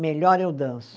Melhor eu danço.